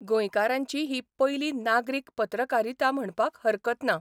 गोंयकारांची ही पयली नागरीक पत्रकारिता म्हणपाक हरकत ना.